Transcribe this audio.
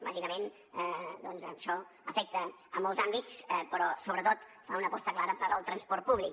bàsicament doncs això afecta molts àmbits però sobretot fa una aposta clara per al transport públic